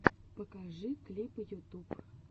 покажи клипы ютуб